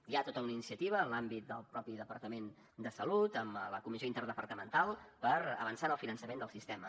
hi ha tota una iniciativa en l’àmbit del mateix departament de salut amb la comissió interdepartamental per avançar en el finançament del sistema